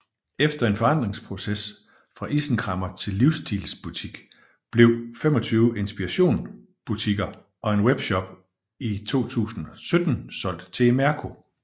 Efter en forandringsproces fra isenkræmmer til livsstilsbutik blev 25 Inspiration butikker og en webshop i 2017 solgt til Imerco